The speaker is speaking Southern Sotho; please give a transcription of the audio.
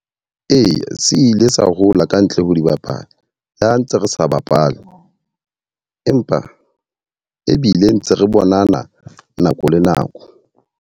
Eya, se ile sa hola kantle ho di bapala. Ha ntse re sa bapale. Empa ebile ntse re bonana nako le nako.